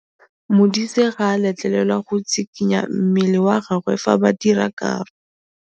Modise ga a letlelelwa go tshikinya mmele wa gagwe fa ba dira karô.